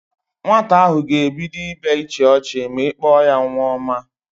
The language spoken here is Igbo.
Nwata ahụ ga-ebido ibe ịchị ọchị ma ị kpọ ya nwa ọma